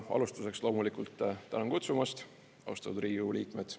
Alustuseks loomulikult tänan kutsumast, austatud Riigikogu liikmed.